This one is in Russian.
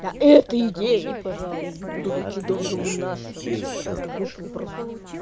а это идеи я её буду лучше долго вынашивать чтобы это вышло просто